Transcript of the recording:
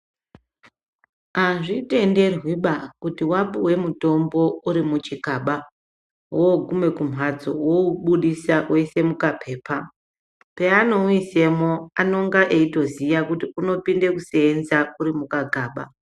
Azvitenderwiba kuti wapuwe mutombo uri muchikaba wogume kumbatso woubudisa woisa mukapepa paanouisemo anenge eitoziya unopinde kusenza uri mukagaba.